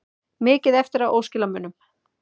Mikið eftir af óskilamunum